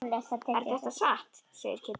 Er þetta satt? segir Kiddi.